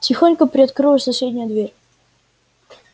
тихонько приоткрылась соседняя дверь